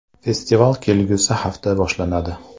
Festival kelgusi hafta boshlanadi.